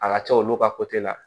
A ka ca olu ka la